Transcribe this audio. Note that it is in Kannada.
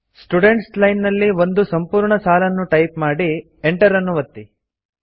ಸ್ಟುಡೆಂಟ್ಸ್ ಲೈನ್ ನಲ್ಲಿ ಒಂದು ಸಂಪೂರ್ಣ ಸಾಲನ್ನು ಟೈಪ್ ಮಾಡಿ Enter ಒತ್ತಿ